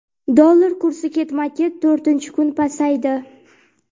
Dollar kursi ketma-ket to‘rtinchi kun pasaydi.